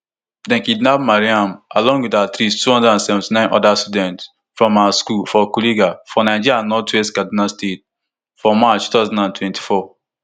dem kidnap mariam along with at least two hundred and seventy-nine oda students from her school for kuriga for nigeria northwest kaduna state for march two thousand and twenty-four